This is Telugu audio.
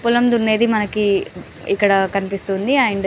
పొలం దున్నేది మనకి ఇక్కడ కనిపిస్తుంది అండ్. --